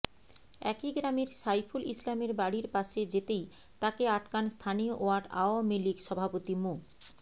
একই গ্রামের সাইফুল ইসলামের বাড়ির পাশে যেতেই তাকে আটকান স্থানীয় ওয়ার্ড আওয়ামী লীগ সভাপতি মো